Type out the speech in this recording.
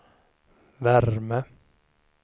värme